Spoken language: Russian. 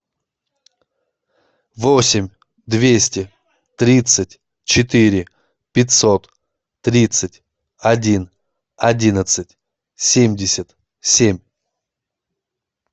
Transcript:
восемь двести тридцать четыре пятьсот тридцать один одиннадцать семьдесят семь